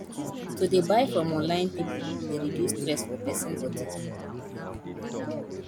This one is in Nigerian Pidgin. to dey buy from online pipu dey reduce stress for pesin body